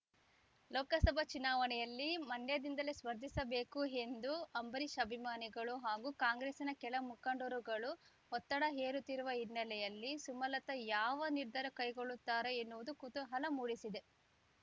ಲೋಕಸಭಾ ಚುನಾವಣೆಯಲ್ಲಿ ಮಂಡ್ಯದಿಂದಲೇ ಸ್ಪರ್ಧಿಸಬೇಕು ಎಂದು ಅಂಬರೀಶ್ ಅಭಿಮಾನಿಗಳು ಹಾಗೂ ಕಾಂಗ್ರೆಸ್‌ನ ಕೆಲಮುಖಂಡರುಗಳು ಒತ್ತಡ ಹೇರುತ್ತಿರುವ ಹಿನ್ನೆಲೆಯಲ್ಲಿ ಸುಮಲತ ಯಾವ ನಿರ್ಧಾರ ಕೈಗೊಳ್ಳುತ್ತಾರೆ ಎನ್ನುವುದು ಕುತೂಹಲ ಮೂಡಿಸಿದೆ